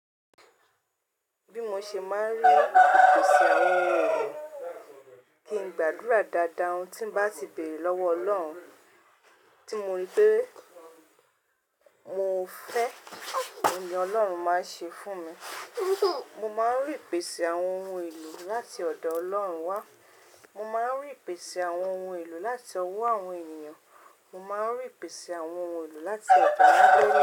Bí mo ṣe máa ń rí ìpèsè àwọn ohun èlò, kí ń gbàdúrà dáadáa ohun tí bá ti béèrè lọ́wọ́ Ọlọ́run tí mo rí pé mo fẹ́ oun ni Ọlọ́run máa ṣe fún mi. Mo máa ń rí ìpèsè àwọn ohun èlò láti ọ̀dọ̀ Ọlọ́run wá, mo máa ń rí ìpèsè àwọn ohun èlò láti ọwọ́ àwọn ènìyàn, mo máa ń rí ìpèsè àwọn ohun èlò láti ọ̀dọ̀ n.